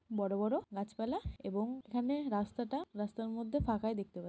বড় বড় গাছপালা এবং এখানে রাস্তাটা রাস্তার মধ্যে ফাঁকাই দেখতে পাচ্ছি।